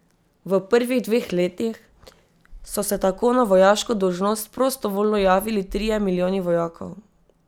V prvih dveh letih so se tako na vojaško dolžnost prostovoljno javili trije milijoni vojakov.